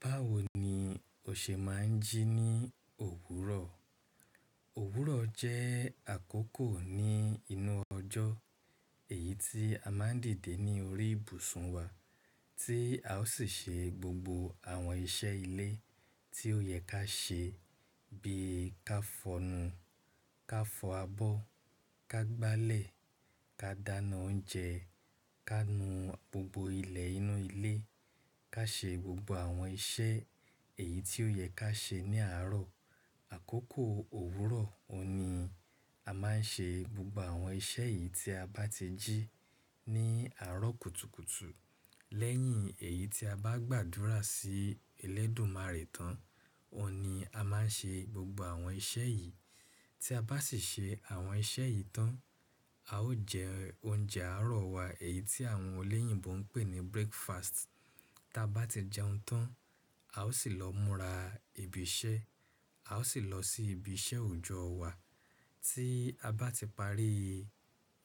Báwo ni o ṣe máa ń jí ní òwúrọ̀? Òwúrọ̀ jẹ́ àkókò ní inú ọjọ́ èyí tí a máa ń dìde ní orí ìbùsùn wa tí a ó sì ṣe gbogbo àwọn iṣẹ́ ilé tí ó yẹ ká ṣe bí i ká fọnu, ká fọ abọ́, ká gbálẹ̀, ká dáná oúnjẹ, ká nu gbogbo ilẹ̀ inú ilé, ká ṣe gbogbo àwọn iṣẹ́ èyí tí ó yẹ ká ṣe ní àárọ̀. Àkókò òwúrọ̀ ọ̀ní, a máa ń ṣe gbogbo àwọn iṣẹ́ yìí tí a bá ti jí ní àárọ̀ kùtùkùtù. Lẹ́yìn èyí tí a bá gbàdúrà sí Elédùmarè tán, ọ̀ní a máa ń ṣe gbogbo àwọn iṣẹ́ yìí. Tí a bá sì ṣe àwọn iṣẹ́ yìí tán, a ó jẹ oúnjẹ àárọ̀ wa èyí tí àwọn olèyìnbó ń pè ní breakfast. Tí a bá ti jẹun tán, a ó sì lọ múra ibi iṣẹ́, a ó sì lọ sí ibi iṣẹ́ òòjọ́ wa. Tí a bá ti parí